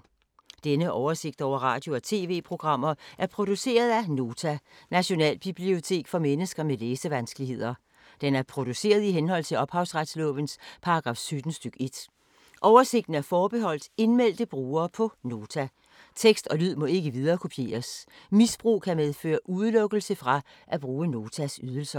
Denne oversigt over radio og TV-programmer er produceret af Nota, Nationalbibliotek for mennesker med læsevanskeligheder. Den er produceret i henhold til ophavsretslovens paragraf 17 stk. 1. Oversigten er forbeholdt indmeldte brugere på Nota. Tekst og lyd må ikke viderekopieres. Misbrug kan medføre udelukkelse fra at bruge Notas ydelser.